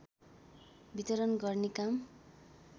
वितरण गर्ने काम